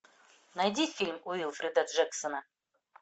найди фильм уилфреда джексона